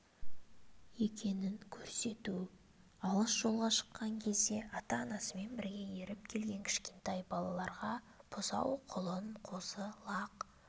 екенін көрсету алыс жолға шыққан кезде ата-анасымен бірге еріп келген кішкентай балаларға бұзау құлын қозы-лақ